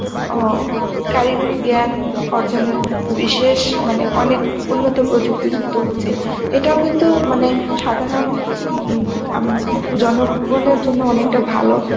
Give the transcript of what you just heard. অ কারিগরি জ্ঞান অর্জনের বিশেষ মানে অনেক উন্নত প্রযুক্তিযুক্ত হচ্ছে, এটাও কিন্তু মানে সাধারণ উম আম জনগণের জন্য অনেকটা ভালো